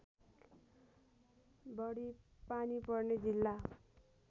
बढी पानी पर्ने जिल्ला